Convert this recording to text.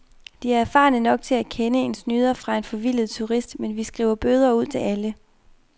De er erfarne nok til at kende en snyder fra en forvildet turist, men vi skriver bøder ud til alle.